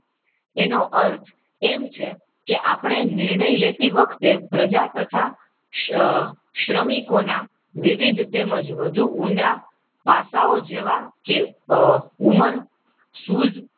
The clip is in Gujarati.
એનો અર્થ એમ છે આપણે કે નિર્ણય લેતી વખતે આહ પ્રજા તથા શ્રમિકોના વિવિધ તેમજ વધુ ઊંડા પાસાઓ જેવા કે આહ ઉમર સૂઝ,